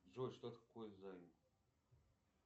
джой что такое займ